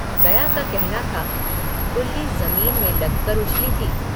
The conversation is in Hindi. गया का कहना था गुल्ली ज़मीन में लगकर उछली थी।